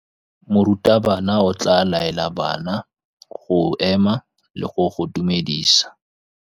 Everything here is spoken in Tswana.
Morutabana o tla laela bana go ema le go go dumedisa.